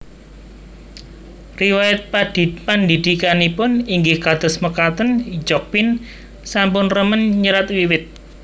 Riwayat pendhidhikanipun inggih kados mekatenJokpin sampun remen nyerat wiwit